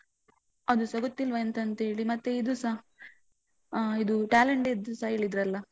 ಅದುಸ ಗೊತ್ತಿಲ್ವ ಎಂತಂತೇಳಿ. ಮತ್ತೆ ಇದುಸ ಆ ಇದು talent day ದ್ಸ ಹೇಳಿದ್ರಲ್ಲ?